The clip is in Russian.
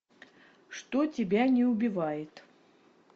что тебя не убивает